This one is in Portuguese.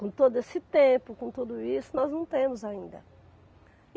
Com todo esse tempo, com tudo isso, nós não temos ainda.